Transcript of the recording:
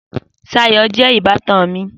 Sayo jé ìbátan mi